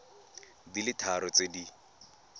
di le tharo tse di